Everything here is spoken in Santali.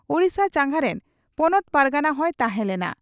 ᱳᱰᱤᱥᱟ ᱪᱟᱸᱜᱟ ᱨᱮᱱ ᱯᱚᱱᱚᱛ ᱯᱟᱨᱜᱟᱱᱟ ᱦᱚᱸᱭ ᱛᱟᱦᱮᱸ ᱞᱮᱱᱟ ᱾